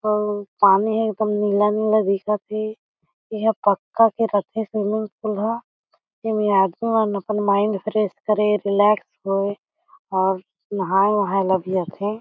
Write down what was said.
अउ पानी ह एकदम नीला-नीला दिखत हे एहा पक्का के रथे स्विमिंग पूल ह एमे आदमी मन अपन माइंड फ्रेश करे रिलैक्स होए अउ नहाये वहाये ल भी आथे।